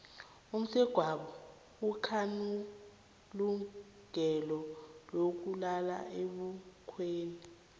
umsegwabo akanalungelo lokulala ebukhweni